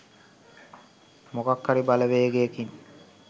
මොකක් හරි බලවේගයකින්